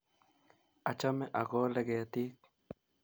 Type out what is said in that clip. Achame akole ketiik